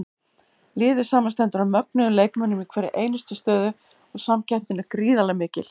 Liðið samanstendur af mögnuðum leikmönnum í hverri einustu stöðu og samkeppnin er gríðarlega mikil.